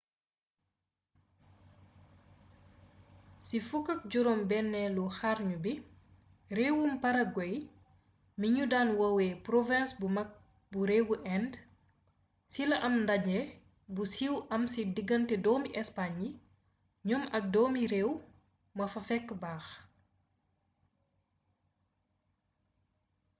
ci 16eelu xarnu bi réewum paraguay mi ñu daan woowe «province bu mag bu réewu inde» ci la am ndaje mu siiw amee ci diggante doomi espagne yi ñoom ak doomi réew ma fa fekk baax